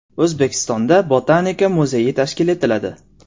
O‘zbekistonda Botanika muzeyi tashkil etiladi.